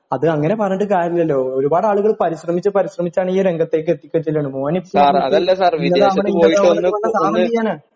അത് അങ്ങനെ പറഞ്ഞിട്ട് കാര്യമില്ലല്ലോ ഒരുപാടാളുകള് പരിശ്രമിച്ചു പരിശ്രമിച്ചാണീ രംഗത്തേക്ക് എത്തി ചെല്ലണെ മോനിപ്പോ ഇങ്ങനെ ആവണം ഇങ്ങനെ ആവണം എന്നൊക്കെ പറഞ്ഞാല് സാര് എന്തു ചെയ്യാനാണ്